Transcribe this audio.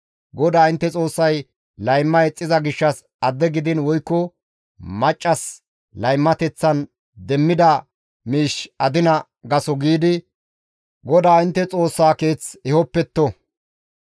GODAA intte Xoossay layma ixxiza gishshas adde gidiin woykko maccassi laymateththan demmida miish adina gaso giidi GODAA intte Xoossa keeth ehopetto.